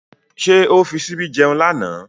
Ṣé ó fi ṣíbí jẹun lánàá?